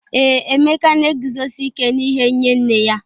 Ee, Emeka na-eguzosi ike n’ihe nye nne ya.